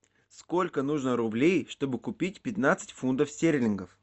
сколько нужно рублей чтобы купить пятнадцать фунтов стерлингов